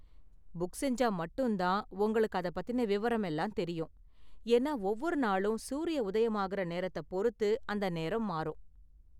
Book செஞ்சா மட்டும் தான் உங்களுக்கு அதப் பத்தின விவரம் எல்லாம் தெரியும், ஏன்னா ஒவ்வொரு நாளும் சூரிய உதயமாகுற நேரத்த பொறுத்து அந்த நேரம் மாறும்.